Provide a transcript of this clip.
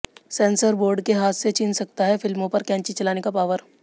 sensor board के हाथ से छिन सकता है फिल्मों पर कैंची चलाने का पावर